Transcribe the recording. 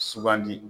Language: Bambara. Sugandi